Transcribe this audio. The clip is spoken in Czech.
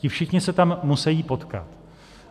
Ti všichni se tam musejí potkat.